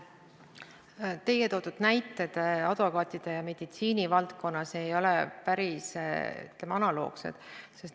Teie toodud advokaatide ja meditsiini valdkonna näited ei ole päris analoogsed.